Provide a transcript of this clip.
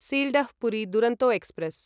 Sealdah Puri Duronto express